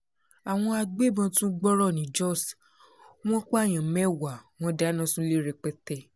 àwọn agbébọn tún gbọ́rọ̀ ni jóṣ wọn pààyàn mẹ́wàá wọn dáná sunlé rẹpẹtẹ